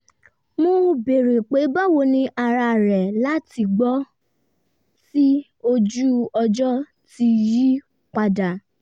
mo béèrè pé báwo ni ara rẹ̀ látìgbà tí ojú-ọjọ ti yí padà